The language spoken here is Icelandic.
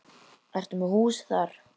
Ertu með hús þar?